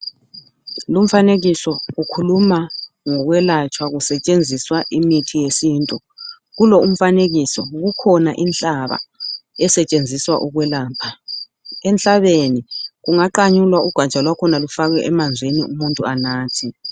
Lumfanekiso ukhuluma ngokwelatshwa kusetshenziswa imithi yesintu. Kulo umfanekiso kukhona inhlaba esetshenziswa ukwelapha. Emhlabeni kungaqanyulwa ugatsha lwakhona lufakwe emanzini umuntu anathe.